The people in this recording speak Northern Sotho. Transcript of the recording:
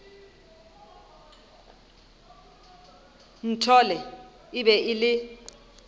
nthole e be e le